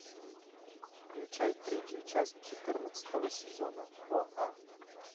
включай третью часть четырнадцатого сезона о а